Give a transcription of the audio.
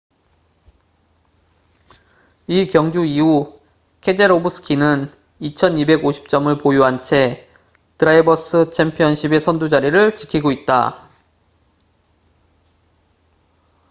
이 경주 이후 케제로브스키는 2,250점을 보유한 채 드라이버스 챔피언십의 선두 자리를 지키고 있다